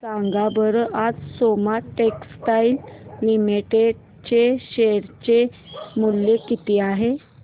सांगा बरं आज सोमा टेक्सटाइल लिमिटेड चे शेअर चे मूल्य किती आहे